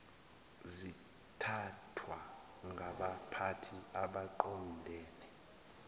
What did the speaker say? zithathwa ngabaphathi abaqondene